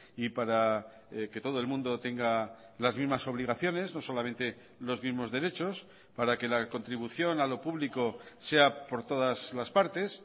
y para que todo el mundo tenga las mismas obligaciones no solamente los mismos derechos para que la contribución a lo público sea por todas las partes